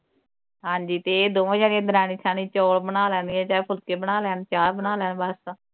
ਹਾਂਜੀ ਤੇ ਇਹ ਦੋਵੇ ਜਾਣੇ ਦਰਾਣੀ ਜਠਾਣੀ ਚੌਲ ਬਣਾਲਾਗੇ ਚਾਹੇ ਫੁਲਕੇ ਬਣਾ ਲੈਣ ਚਾਹ ਬਣਾ ਲੈਣ ਬਸ